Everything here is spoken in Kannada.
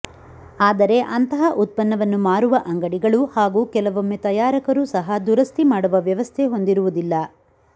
ಆದರೆ ಅಂತಹ ಉತ್ಪನ್ನವನ್ನು ಮಾರುವ ಅಂಗಡಿಗಳು ಹಾಗೂ ಕೆಲವೊಮ್ಮೆ ತಯಾರಕರೂ ಸಹ ದುರಸ್ತಿ ಮಾಡುವ ವ್ಯವಸ್ಥೆ ಹೊಂದಿರುವುದಿಲ್ಲ